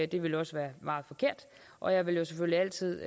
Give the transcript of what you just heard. det ville også være meget forkert og jeg vil selvfølgelig altid